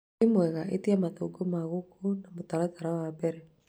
wĩ mwega etia mathagu ma gũku na mũtaratara wa mbere